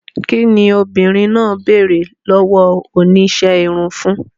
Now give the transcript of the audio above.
Kín ni obìnrin náà béèrè lọ́wọ́ oníṣẹ́ irun fún?